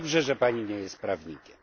I dobrze, że Pani nie jest prawnikiem.